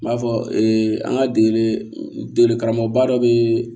N b'a fɔ an ka degeli degeli karamɔgɔba dɔ bɛ